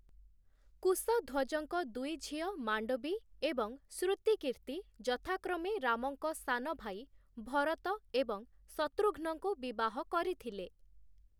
କୁଶଧ୍ୱଜଙ୍କ ଦୁଇ ଝିଅ ମାଣ୍ଡବୀ ଏବଂ ଶୃତିକୀର୍ତ୍ତି ଯଥାକ୍ରମେ ରାମଙ୍କ ସାନଭାଇ ଭରତ ଏବଂ ଶତୃଘ୍ନଙ୍କୁ ବିବାହ କରିଥିଲେ ।